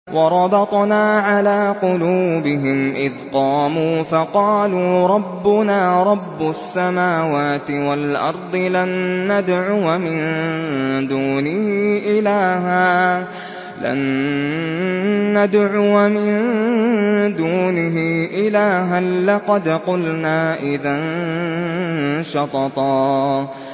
وَرَبَطْنَا عَلَىٰ قُلُوبِهِمْ إِذْ قَامُوا فَقَالُوا رَبُّنَا رَبُّ السَّمَاوَاتِ وَالْأَرْضِ لَن نَّدْعُوَ مِن دُونِهِ إِلَٰهًا ۖ لَّقَدْ قُلْنَا إِذًا شَطَطًا